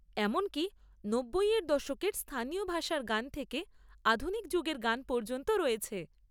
এমনকি নব্বইয়ের দশকের স্থানীয় ভাষার গান থেকে আধুনিক যুগের গান পর্যন্ত রয়েছে।